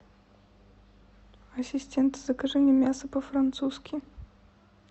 ассистент закажи мне мясо по французски